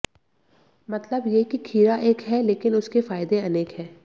मतलब ये कि खीरा एक है लेकिन उसके फायदे अनेक हैं